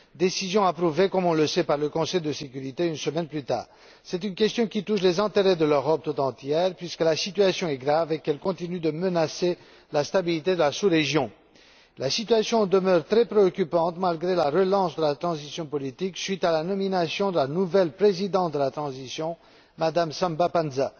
décision approuvée comme on le sait par le Conseil de sécurité des Nations Unies une semaine plus tard. C'est une question qui touche les intérêts de l'Europe toute entière, puisque la situation est grave et qu'elle continue de menacer la stabilité de la sous région. La situation demeure très préoccupante malgré la relance de la transition politique, suite à la nomination d'une nouvelle présidente de transition, Mme Samba Panza.